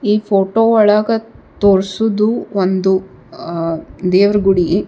ಈ ಫೋಟೊ ಒಳಗ ತೋರ್ಸೋದು ಒಂದ್ ಆಹ್ಹ್ ದೇವರ ಗುಡಿ.